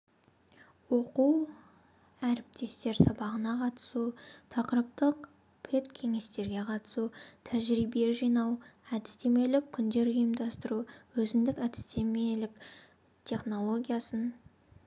оқу әріптестер сабағына қатысу тақырыптық педкеңестерге қатысу тәжірибе жинау әдістемелік күндер ұйымдастру өзіндік әдістемелік технологиясын